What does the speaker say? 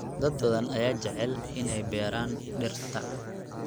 Dad badan ayaa jecel inay beeraan dhirta.